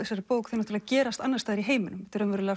þessari bók þeir gerast annars staðar í heiminum